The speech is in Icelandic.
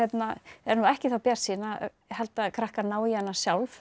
er nú ekki það bjartsýn að halda að krakkar nái í hana sjálf